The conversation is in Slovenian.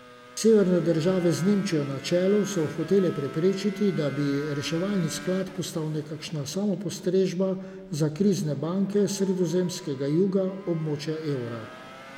Severne države z Nemčijo na čelu so hotele preprečiti, da bi reševalni skladi postali nekakšna samopostrežba za krizne banke s sredozemskega juga območja evra.